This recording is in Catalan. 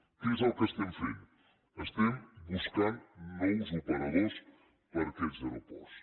què és el que estem fent estem buscant nous operadors per a aquests aeroports